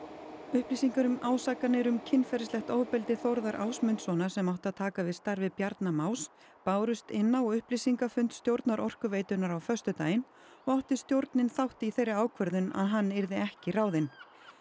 upplýsingar um ásakanir um kynferðislegt ofbeldi Þórðar Ásmundssonar sem átti að taka við starfi Bjarna Más bárust inn á upplýsingafund stjórnar Orkuveitunnar á föstudaginn og átti stjórnin þátt í þeirri ákvörðun að hann yrði ekki ráðinn